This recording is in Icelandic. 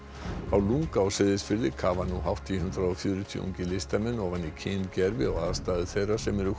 á lunga á Seyðisfirði kafa nú hátt í hundrað og fjörutíu ungir listamenn ofan í kyngervi og aðstæður þeirra sem